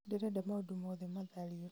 ndĩrenda maũndũ mothe mathario